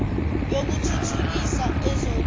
yoku thuthukisa ezoku